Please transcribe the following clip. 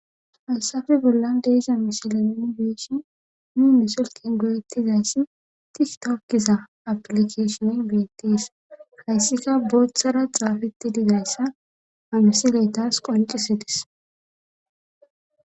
Haysafe bollan de'za misila minigeeshi muune silqin goyettizayssi tiktokkisa aplikashon beettis hayssika booththara xaafetti digayssa hamsiley taas qoncisidis